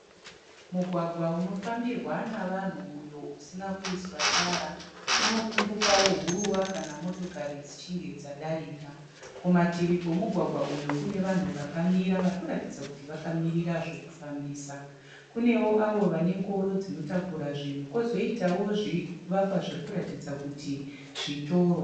Mugwagwa unofambirwa navanhu uyo usina kuiswa tara. Unopfumbukawo huruva kana motokari dzichinge dzadarika. Kumativi kwemugwagwa uyu kune vanhu vakamira vari kuratidza kuti vakamirira zvekufambisa. Kunewo avo vane ngoro dzinotakura zvinhu kwozoitawo zvivakwa zviri kuratidza kuti zvitoro.